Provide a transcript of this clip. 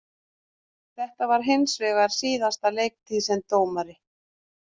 Þetta varð hinsvegar hans síðasta leiktíð sem dómari.